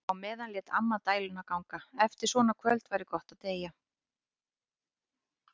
Á meðan lét amma dæluna ganga: Eftir svona kvöld væri gott að deyja.